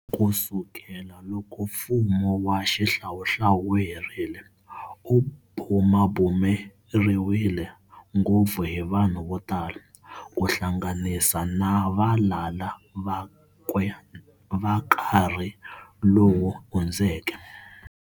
Ku sukela loko mfumo wa xihlawuhlawu wu herile, u bumabumeriwile ngopfu hi vanhu vo tala, ku hlanganisa na valala vakwe va nkarhi lowu hundzeke.